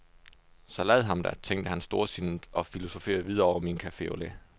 Så lad ham da, tænkte han storsindet og filosoferede videre over min cafe au lait.